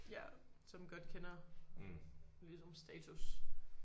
Ja som godt kender ligesom status